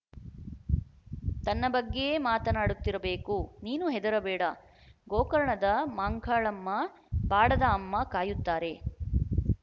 ತನ್ನ ಬಗ್ಗೇ ಮಾತನಾಡುತ್ತಿರಬೇಕು ನೀನು ಹೆದರಬೇಡ ಗೋಕರ್ಣದ ಮ್ಹಂಕಾಳಮ್ಮ ಬಾಡದ ಅಮ್ಮ ಕಾಯುತ್ತಾರೆ